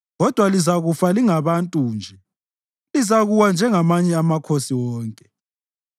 Kodwa lizakufa lingabantu nje; lizakuwa njengamanye amakhosi wonke.”